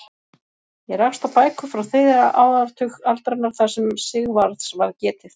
Ég rakst á bækur frá þriðja áratug aldarinnar þar sem Sigvarðs var getið.